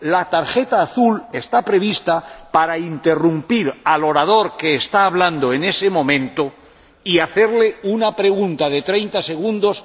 La tarjeta azul está prevista para interrumpir al orador que está hablando en ese momento, para hacerle una pregunta de treinta segundos.